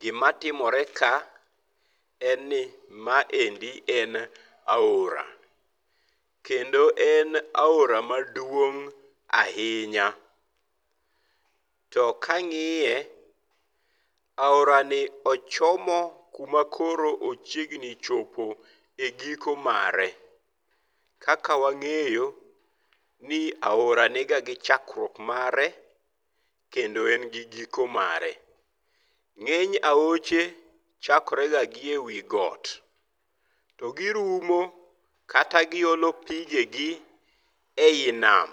Gima timore ka en ni maendi en aora. Kendo en aora maduong' ahinya. To kang'iye, aorani ochomo kumakoro ochiegni chopo e giko mare. Kaka wang'eyo, ni aora niga gi chakruok mare kendo en gi giko mare. Ng'eny aoche, chakore go gi ewi got. To girumo kata giolo pigegi ei nam.